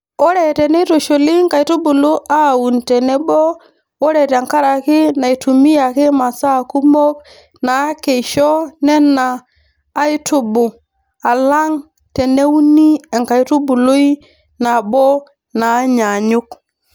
Ore teneitushuli nkaitubulu aaun tenebo ore nkaraki naitumiyaki masaa kumok naakeisho Nena aitubu alang teneuni enkaitubului nabo naanyaanyuk.